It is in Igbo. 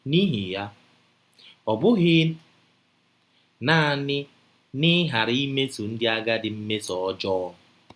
N’ihi ya, o bighị naanị n’ịghara imeso ndị agadi mmeso ọjọọ.